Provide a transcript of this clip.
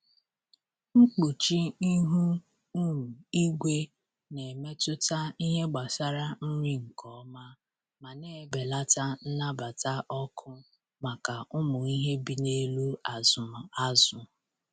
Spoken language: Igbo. Mkpuchi ihu um igwe na-emetụta ihe gbasara nri nke ọma ma na-ebelata nnabata ọkụ maka ụmụ ihe bi n’ebe azụm azụ.